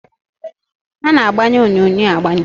A na-agbanye onyonyo agbanye